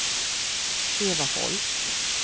Eva Holst